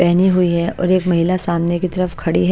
पहने हुई है और एक महिला सामने की तरफ खड़ी है।